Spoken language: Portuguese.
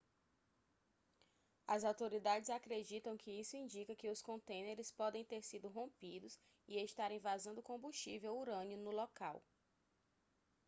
as autoridades acreditam que isso indica que os contêineres podem ter sido rompidos e estarem vazando combustível urânio no local